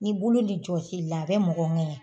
N'i bolo bi jɔsi i la a bɛ mɔgɔ ŋɛɲɛ